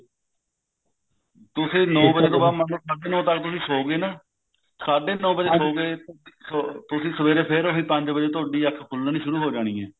ਤੁਸੀਂ ਨੋ ਵੱਜੇ ਤੋਂ ਬਾਅਦ ਮਤਲਬ ਸਾਡੇ ਨੋ ਵੱਜੇ ਤੱਕ ਤੁਸੀਂ ਸੋ ਗਏ ਨਾ ਸਾਡੇ ਨੋ ਵੱਜੇ ਸੋ ਗਏ ਤੁਸੀਂ ਸਵੇਰੇ ਫੇਰ ਤੁਹਾਡੀ ਅੱਖ ਪੰਜ ਵੱਜੇ ਖੁੱਲਣੀ ਸ਼ੁਰੂ ਹੋ ਜਾਣੀ ਹੈ